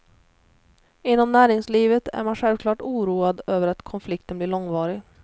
Inom näringslivet är man självklart oroad över att konflikten blir långvarig.